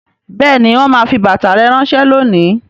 Bẹẹni, wọn máa fi bàtà rẹ ránsẹ́ lónìí